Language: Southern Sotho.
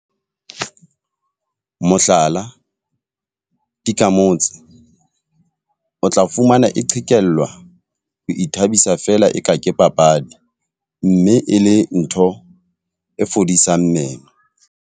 Mohlala, tikamotse. O tla fumana e qhekellwa ho ithabisa feela e ka ke papadi. Mme e le ntho e fodisang meno.